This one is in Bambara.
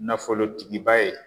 Nafolotigiba ye